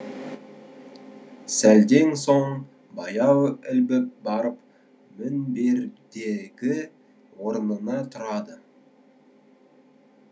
сәлден соң баяу ілбіп барып мінбердегі орнына тұрады